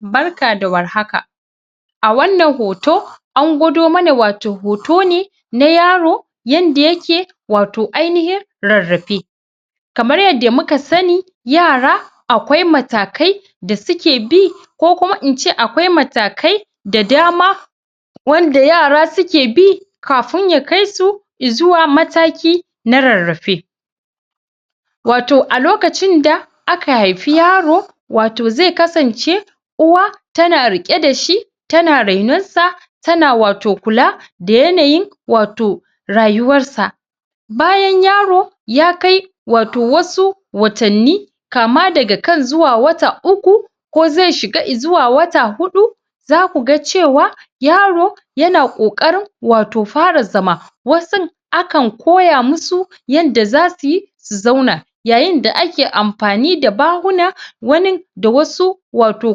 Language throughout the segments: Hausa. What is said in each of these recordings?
Barka da war haka a wannan hoto an gwado mana wato hoto ne na yaro yadda yake wato ainiyin rarrafe kamar yadda muka sani yara akwai mata kai da suke bi ko kuma ince akwai matakai da dama wanda yara suke bi kafin ya kaisu izuwa mataki na rarrafe wato alokacin da aka haifi yaro wato zai kasance uwa tana rike dashi tana renon sa tana wato kula da yanayin wato rayuwarsa bayan yaro ya kai wato wasu watanni kama daga kan zuwa wata uku ko ze shiga izuwa wata hudu zaku ga cewa yaro yana kokarin wato fara zama wasun akan koya masu yanda zasuyi su zauna yayin da kae amfani da bahuna wanin da wasu wato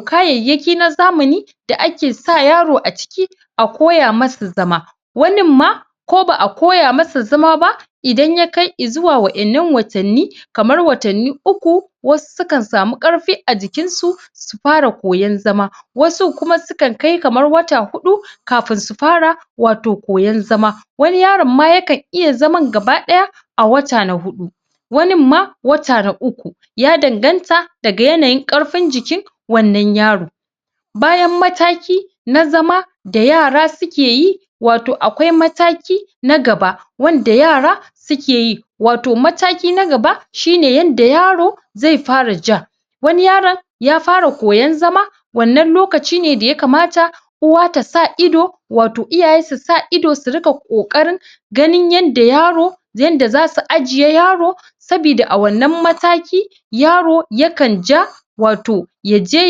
kayayyaki na zamani da ake sa yaro aciki a koya masa zama wanin ma ko ba'a koya masa zama ba idan yakai izuwa wayan nan watan ni kamar watan ni uku wasu sukan sami karfi ajikin su su fara koyon zama wasun kuma sukan kai kamar wata hudu kafin su fara wato koyon zama wani yaron ma yakan iya zaman gabadaya a wata na hudu wanin ma wata na uku ya danganta daga yanayin karfin jikin wannan yaro bayan mataki na zama da yara suke yi wato akswai mataki na gaba wanda yara suke yi wato mataki nagaba shine yadda yaro zai fara ja wani yaron yafara koyon zama wannan lokaci ne daya kamata uwa tasa idu wato iyaye susa idu surika kokarin ganin yadda yaro yadda zasu ajiye yaro sabida a wannan mataki yaro yakan ja wato yaje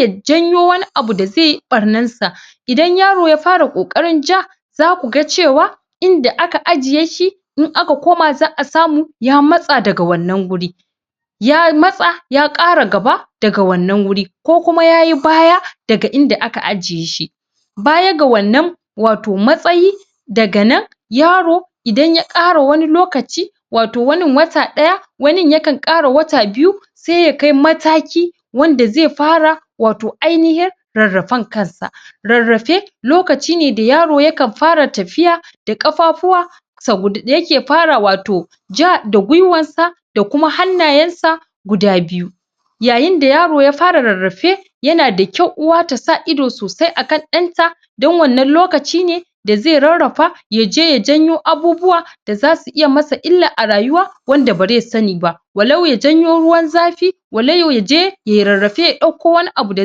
yajanyo wani abu da zai yi bar nansa idan yaro yafara kokarin ja zakuga cewa inda aka ajiye shi in aka koma za'a samu ya matsa daga wannan wuri ya matsa ya kara gaba daga wannan guri ko kuma yayi baya daga inda aka ajiye shi baya ga wannan wato matsayi daganan yaro idan yakara idan yakara wani lokaci wato wanin wata daya wanin yakan kara wata biyu sai yakai mataki wanda zai fara wato ainihin rarrafen kansa rarrafe lokaci ne da yaro yakan fara tafiya da kafafuwa dayake fara wato ja da gwiwar sa da kuma hannayen sa guda biyu yayin da yaro ya fara rarrafe yanda kyau uwa tasa idu sosai akan danta don wannan lokaci ne da ze rarrafa yaje ya janyo abubuwa da zasu iya masa illa arayuwa wanda ba zai sani ba walau yajanyo ruwan zafi walau yaje yayi rarrafe yadauko wani abu da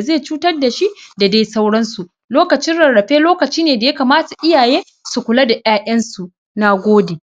zai cutar dashi da dai sauransu lokacin rarrafe lokaci ne da iyaye yakamata su kula da yayansu na gode